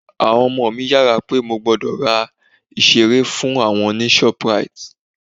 Àwọn ọmọ mi yára pé mo gbọ́dọ̀ ra ìseré fún àwọn ní ShopRite